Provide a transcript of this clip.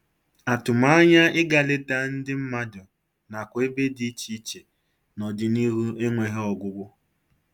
Atụmanya ịga leta ndị mmadụ nakwa ebe dị iche iche n'ọdịnihu enweghị ọgwụgwụ